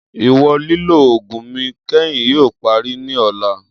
Iwọn lilo oogun mi kẹhin yoo pari ni ọla.